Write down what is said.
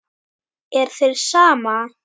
Er þér sama?